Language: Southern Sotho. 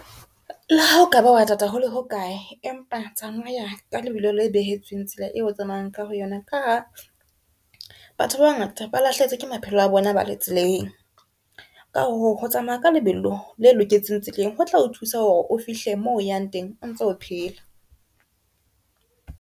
Le ha o ka ba wa tata hole hokae, empa tsamaya ka lebelo le behetsweng, tsela eo o tsamayang ka ho yona. Ka ha batho ba bangata ba lahlehetswe ke maphelo a bona, ba le tseleng. Ka hoo ho tsamaya ka lebelo le loketseng tseleng, ho tla o thusa hore o fihle moo yang teng o ntso o phela.